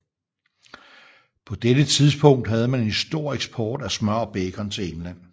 På dette tidspunkt havde man en stor eksport af smør og bacon til England